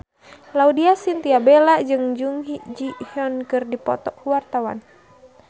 Laudya Chintya Bella jeung Jung Ji Hoon keur dipoto ku wartawan